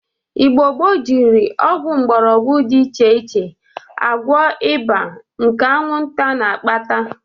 Igbo gboo jiri ọgwụ mgbọrọgwọ dị iche agwọ ịba nke aṅwụnta na-akpata.